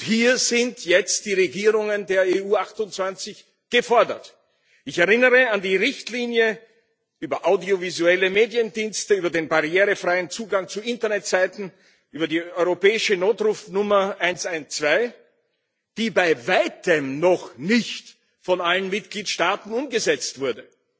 hier sind jetzt die Regierungen der EU 28 gefordert. Ich erinnere an die Richtlinien über audiovisuelle Mediendienste, über den barrierefreien Zugang zu Internetseiten, über die europäische Notrufnummer 112, die bei weitem noch nicht von allen Mitgliedstaaten umgesetzt wurden.